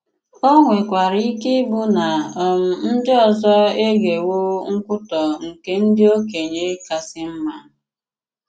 Ó nwèkwàrà ike ịbụ nà um ndí ọzọ egewo nkwutọ̀ nkè “ndị okenye kàsị mma.